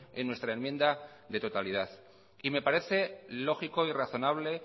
en nuestra enmienda de totalidad y me parece lógico y razonable